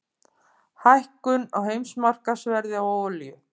Hækkun á heimsmarkaðsverði á olíu